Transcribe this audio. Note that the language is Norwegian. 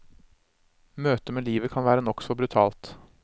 Møtet med livet kan være nokså brutalt.